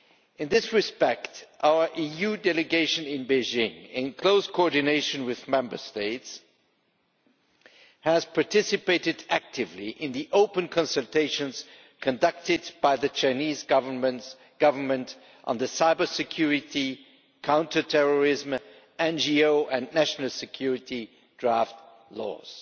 In this respect, our EU delegation in Beijing, in close coordination with Member States, has participated actively in the open consultations conducted by the Chinese Government on the cyber security, counterterrorism, NGO and national security draft laws.